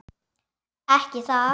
Ekki það.?